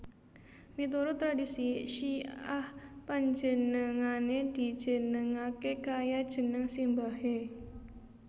Miturut tradhisi Syi ah panjenengané dijenengaké kaya jeneng simbahé